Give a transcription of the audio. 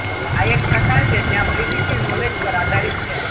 આ એક પ્રકાર છે જ્યાં પ્રિડિક્ટિવ નોલેજ પર આધારિત છે